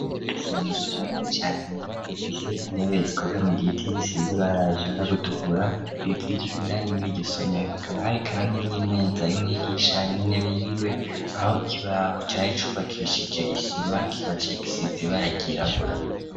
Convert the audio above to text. Isomero rinini cane rifise intebe zikoze mu giti gisize ibara rishaka gutukura indani muri iryo somero akaba hari kandi n'imeza y'umwigisha, n'intebe yiwe aho ikibaho cari cubakishije isima kikaba cari gisize ibara ryirabura.